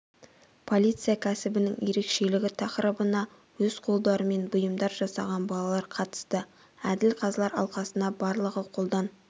полиция кәсібінің ерекшелігі тақырыбына өз қолдарымен бұйымдар жасаған балалар қатысты әділ қазылар алқасына барлығы қолдан